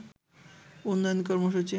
উন্নয়ন কর্মসূচি